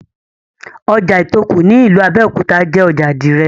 Ojà Ìtòkù ní ìlú Abẹ́òkúta jé ojà àdìrẹ̀.